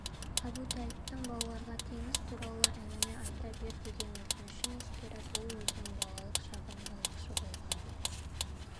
әбутәліптің балаларға теңіз туралы әңгіме айта бер деген өтінішін ескеріп ол өзінің балалық шағын балықшы болған